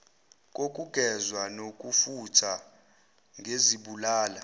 kokugezwa nokufuthwa ngezibulala